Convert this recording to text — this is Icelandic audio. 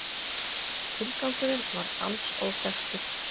Tilgangurinn var alls óþekktur